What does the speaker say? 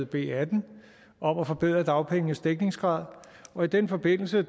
b atten om at forbedre dagpengenes dækningsgrad og i den forbindelse